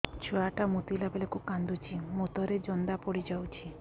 ଛୁଆ ଟା ମୁତିଲା ବେଳକୁ କାନ୍ଦୁଚି ମୁତ ରେ ଜନ୍ଦା ପଡ଼ି ଯାଉଛି